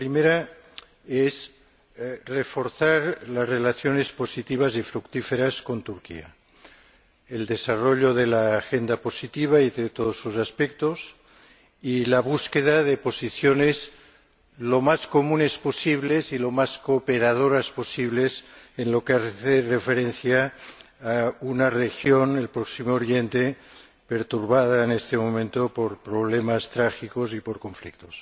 La primera es reforzar las relaciones positivas y fructíferas con Turquía, desarrollar la agenda positiva y todos sus aspectos y buscar posiciones lo más comunes posibles y lo más cooperadoras posibles en lo que se refiere a una región —Oriente Próximo— perturbada en este momento por problemas trágicos y por conflictos.